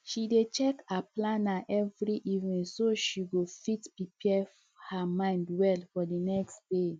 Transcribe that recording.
she dey check her planner every evening so she go fit prepare her mind well for the nxt day